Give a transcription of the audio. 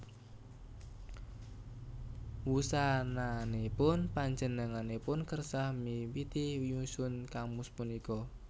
Wusananipun panjenenganipun kersa miwiti nyusun kamus punika